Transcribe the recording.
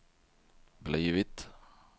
blivit